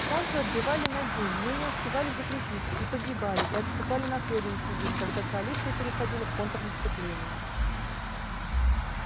станцию отбивали на день но не успевали закрепиться и погибали и отступали на следующий день когда коалиция переходила в контрнаступление